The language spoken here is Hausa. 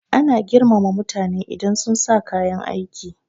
Ana girmama mutane idan sunsa kayan aiki